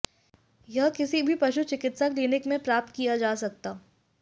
यह किसी भी पशु चिकित्सा क्लीनिक में प्राप्त किया जा सकता